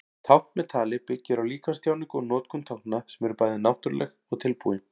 Tákn með tali byggir á líkamstjáningu og notkun tákna sem eru bæði náttúruleg og tilbúin.